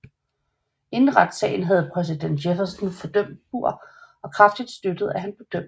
Inden retssagen havde præsident Jefferson fordømt Burr og kraftigt støttet at han blev dømt